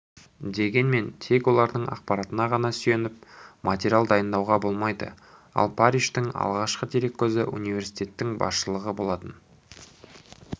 дегенмен тек олардың ақпаратына ғана сүйеніп материал дайындауға болмайды ал парриштің алғашқы дереккөзі университеттің басшылығы болатын